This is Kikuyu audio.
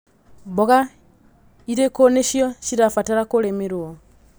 Mboga irĩkũ nĩcio cirabatara kũrĩmĩrwo.